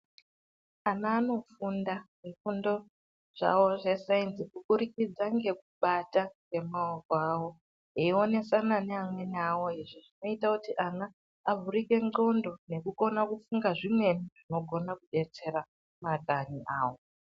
Ana anofunda zvifundo zvawo zvesainzi kuburikidza ngekubata nemaoko awo eionesana nevamweni vawo izvi zvinoita kuti ana avhurike ngonxo nekukona ukufunga zvimweni zvinokona kudetsera makanyi awo.